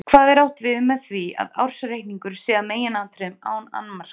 Hvað er átt við með því að ársreikningur sé að meginatriðum án annmarka?